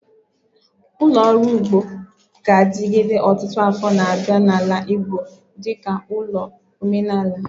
Ulo oru ugbo ga-adigide otutu afo na abia na ala Igbo dika ulo omenala